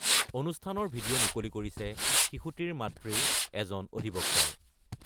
অনুষ্ঠানৰ ভিডিঅ’ মুকলি কৰিছে শিশুটিৰ মাতৃৰ এজন অধিবক্তাই।